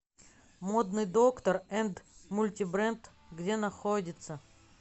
модный доктор энд мультибренд где находится